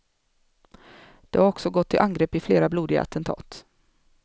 De har också gått till angrepp i flera blodiga attentat.